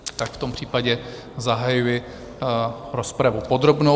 Tak v tom případě zahajuji rozpravu podrobnou.